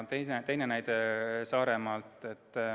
Teine näide Saaremaalt.